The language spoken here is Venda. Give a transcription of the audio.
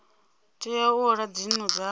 tea u ola dzinnu nga